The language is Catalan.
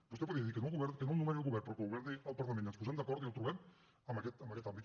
vostè podria dir que no el nomeni el govern però que el nomeni el parlament i ens posem d’acord i el trobem en aquest àmbit